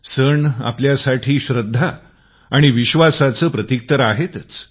सण आपल्यासाठी आस्था आणि विश्वासाचे प्रतिक तर आहेतच